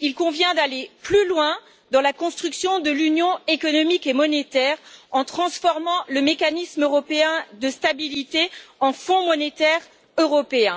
il convient d'aller plus loin dans la construction de l'Union économique et monétaire en transformant le Mécanisme européen de stabilité en Fonds monétaire européen.